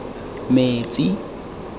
metsi